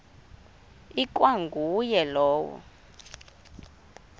ikwa nguye lowo